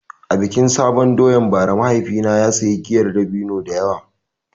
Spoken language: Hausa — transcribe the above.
A bikin sabon doyan bara mahaifina ya sayi giyar dabino da yawa.